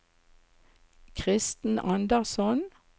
Kristen Andersson